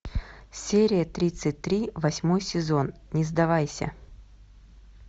серия тридцать три восьмой сезон не сдавайся